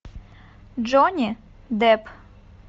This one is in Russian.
джонни депп